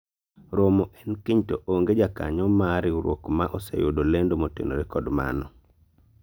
romo en kiny to onge jakanyo mar riwruok ma oseyudo lendo motenore kod mano